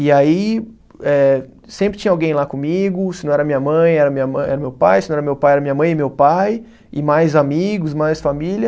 E aí, eh sempre tinha alguém lá comigo, se não era minha mãe, era minha ma, era meu pai, se não era meu pai, era minha mãe e meu pai, e mais amigos, mais família.